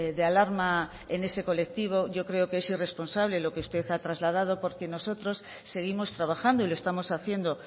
de alarma en ese colectivo yo creo que es irresponsable lo que usted ha trasladado porque nosotros seguimos trabajando y lo estamos haciendo